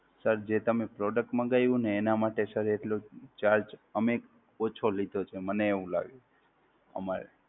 Sir જે તમે Product મંગાવ્યું ને એનાં માટે Sir એટલો charge અમે ઓછો લીધો છે મને એવું લાગે. અમારે